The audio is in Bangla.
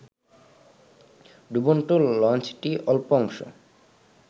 ডুবন্ত লঞ্চটির অল্প অংশ